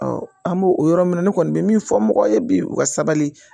an b'o o yɔrɔ min na ne kɔni bɛ min fɔ mɔgɔw ye bi u ka sabali